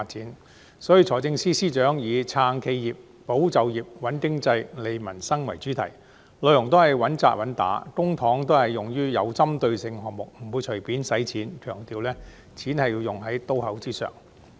有見及此，財政司司長以"撐企業、保就業、穩經濟、利民生"為主題，內容都是穩打穩扎，公帑都是用得其所，不會隨便花錢，強調錢是要用於刀口上。